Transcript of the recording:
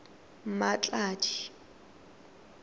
mmatladi